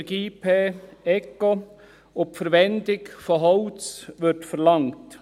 Minergie-PECO und die Verwendung von Holz werden verlangt.